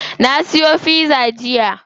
Na siyo pizza jiya?